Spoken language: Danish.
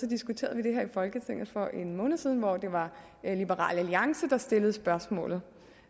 diskuterede det her i folketinget for en måned siden hvor det var liberal alliance der stillede spørgsmålet